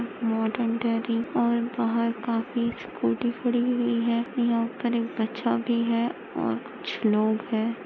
Modern dairy और बाहर काफी स्कुटी खडी हुई है यहा पर एक बच्चा भी है और कुछ लोग है।